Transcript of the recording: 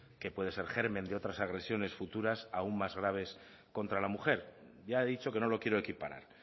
que puede ser germen de otras agresiones futuras aun más graves contra la mujer ya he dicho que no lo quiero equiparar